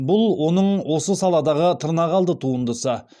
бұл оның осы саладағы тырнақалды туындысы